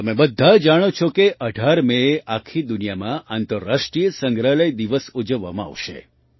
તમે બધા જાણો છો કે ૧૮ મેએ આખી દુનિયામાં આંતરરાષ્ટ્રીય સંગ્રહાલય દિવસ ઉજવવામાં આવશે